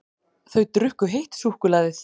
Þau drukku heitt súkkulaðið.